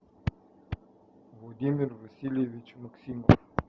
владимир васильевич максимов